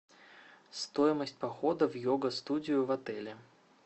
стоимость похода в йога студию в отеле